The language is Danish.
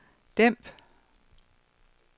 dæmp